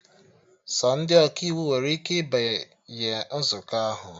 Sọ ndị Ọkaiwu nwere ike ịbanye nzukọ ahụ